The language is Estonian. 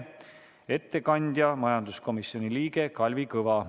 Ettekandja on majanduskomisjoni liige Kalvi Kõva.